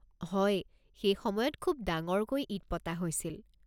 হয়, সেইসময়ত খুব ডাঙৰকৈ ঈদ পতা হৈছিল।